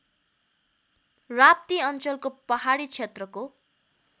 राप्ती अञ्चलको पहाडी क्षेत्रको